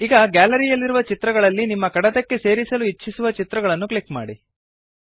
ಈಗ ಗ್ಯಾಲರಿ ಯಲ್ಲಿರುವ ಚಿತ್ರಗಳಲ್ಲಿ ನಿಮ್ಮ ಕಡತಕ್ಕೆ ಸೇರಿಸಲು ಇಚ್ಛಿಸುವ ಚಿತ್ರವನ್ನು ಕ್ಲಿಕ್ ಮಾಡಿ